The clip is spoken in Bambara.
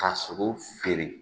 Ka sogo feere